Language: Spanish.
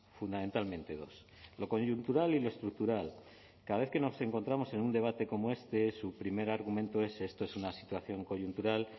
fundamentalmente dos lo coyuntural y lo estructural cada vez que nos encontramos en un debate como este su primer argumento es esto es una situación coyuntural